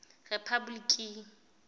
rephapoliki